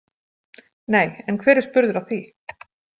Nei, en hver er spurður að því?